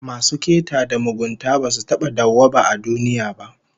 Masu keta da mugunta basu taba dawwaba a duniya ba